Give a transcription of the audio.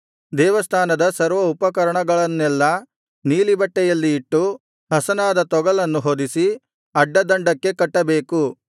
ದೇವಸ್ಥಾನದ ಸರ್ವ ಉಪಕರಣಗಳನ್ನೆಲ್ಲಾ ನೀಲಿಬಟ್ಟೆಯಲ್ಲಿ ಇಟ್ಟು ಹಸನಾದ ತೊಗಲನ್ನು ಹೊದಿಸಿ ಅಡ್ಡ ದಂಡಕ್ಕೆ ಕಟ್ಟಬೇಕು